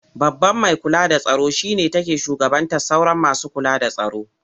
Babban mai kula da tsaro shi ne take shugabantar sauran masu kula da tsaro.